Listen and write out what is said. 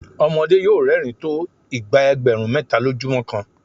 ọmọdé yóò rẹ́rìn-ín tó ìgbà ẹgbẹ̀rún méta lójúmọ́ kan.